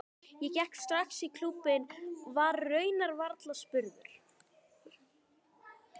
Ég gekk strax í klúbbinn, var raunar varla spurður.